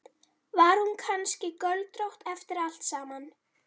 Var hún kannski göldrótt eftir allt saman?